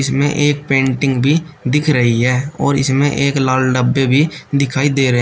इसमें एक पेंटिंग भी दिख रही है और इसमें एक लाल डब्बे भी दिखाई दे रहे--